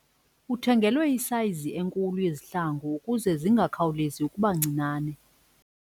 Uthengelwe isayizi enkulu yezihlangu ukuze zingakhawulezi ukuba ncinane.